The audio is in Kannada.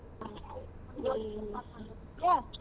ಹಾ .